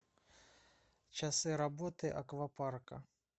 часы работы аквапарка